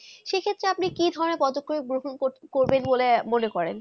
সেই ক্ষেত্রে আপনি কি ধারণা গ্রহণ করবে মনে করে